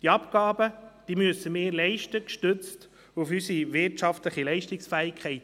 Diese Abgaben müssen wir leisten, gestützt auf unsere wirtschaftliche Leistungsfähigkeit.